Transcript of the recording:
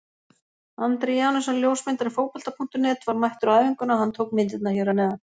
Andri Janusson ljósmyndari Fótbolta.net var mættur á æfinguna og hann tók myndirnar hér að neðan.